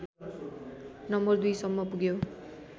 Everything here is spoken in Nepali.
नम्बर २ सम्म पुग्यो